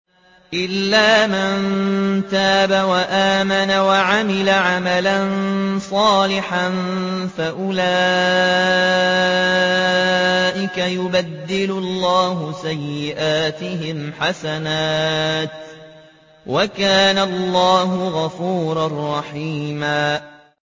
إِلَّا مَن تَابَ وَآمَنَ وَعَمِلَ عَمَلًا صَالِحًا فَأُولَٰئِكَ يُبَدِّلُ اللَّهُ سَيِّئَاتِهِمْ حَسَنَاتٍ ۗ وَكَانَ اللَّهُ غَفُورًا رَّحِيمًا